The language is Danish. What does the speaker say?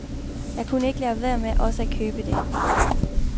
Jeg kunne ikke lade være med også at købe det.